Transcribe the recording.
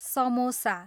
samosa